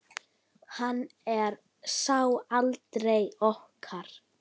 Hann er sá eldri okkar.